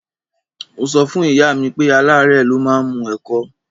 Mo sọ fún ìyá mi pé aláárẹ̀ ló máa ń mu ẹ̀kọ